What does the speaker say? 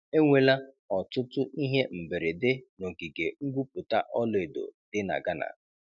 Enwela ọtụtụ ihe mberede n'ogige ngwupụta ọlaedo dị na Ghana.